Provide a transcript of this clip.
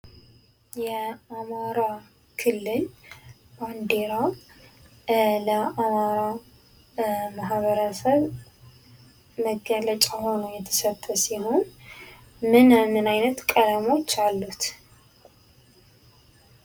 የአማራ ክልል ባንዲራ ለአማራ ማህበረሰብ መገለጫ ሆኖ የተሰጠ ሲሆን ምን ምን አይነት ቀለሞች አሉት ?